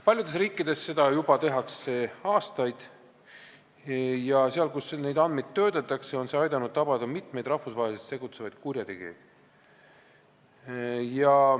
Paljudes riikides tehakse seda juba aastaid ja seal, kus neid andmeid töödeldakse, on see aidanud tabada rahvusvaheliselt tegutsevaid kurjategijaid.